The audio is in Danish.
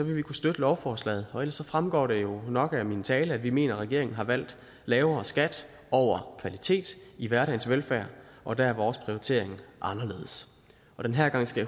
vil vi kunne støtte lovforslaget og ellers fremgår det jo nok af min tale at vi mener at regeringen har valgt lavere skat over kvalitet i hverdagens velfærd og der er vores prioritering anderledes den her gang skal